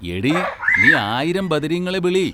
എടീ, നീ ആയിരം ബദരീങ്ങളെ ബിളി!